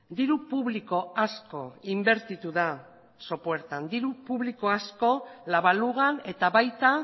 diru publiko asko inbertitu da sopuertan diru publiko asko la balugan eta baita